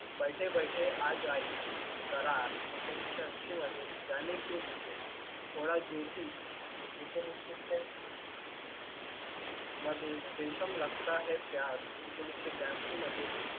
बैठे बैठे आज आई करार ऐकोनिसशे अंशी मध्ये जाणे क्यू मुझे ज्योती ऐकोनिसशे येक्यास्सी मध्ये रेशम लागताहे प्यार ऐकोनिसशे ब्यांशी मध्ये